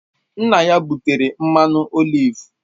Nna ya butere mmanụ oliv